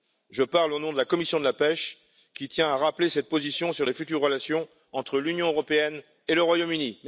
Je parle au nom de la commission de la pêche, qui tient à rappeler cette position sur la future relation entre l'Union européenne et le Royaume Uni.